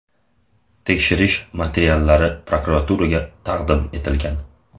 Tekshirish materiallari prokuraturaga taqdim etilgan.